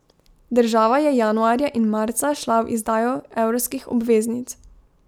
Država je januarja in marca šla v izdajo evrskih obveznic.